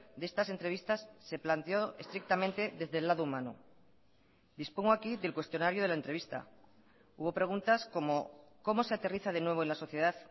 de estas entrevistas se planteó estrictamente desde el lado humano dispongo aquí del cuestionario de la entrevista hubo preguntas como cómo se aterriza de nuevo en la sociedad